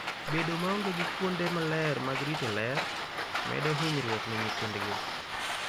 Bedo maonge gi kuonde maler mag rito ler, medo hinyruok ne nyithindgi.